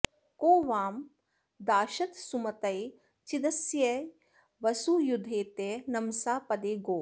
को वां दाशत्सुमतये चिदस्यै वसू यद्धेथे नमसा पदे गोः